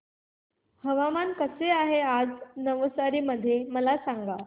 हवामान कसे आहे नवसारी मध्ये मला सांगा